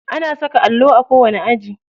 Ana saka allo a kowani aji.